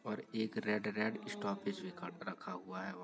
और एक red- red stoppage निकाल कर रखा हुआ है। वहाँ --